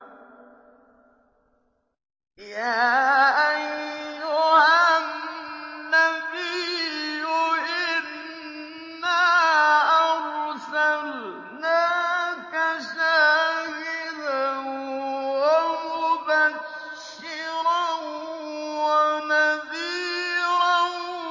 يَا أَيُّهَا النَّبِيُّ إِنَّا أَرْسَلْنَاكَ شَاهِدًا وَمُبَشِّرًا وَنَذِيرًا